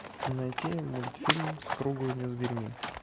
найти мультфильм с круглыми зверьми